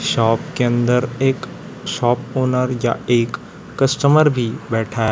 Shop के अंदर एक शॉप ओनर या एक कस्टमर भी बैठा है।